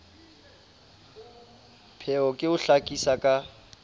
pheo ke ho hlakisa ka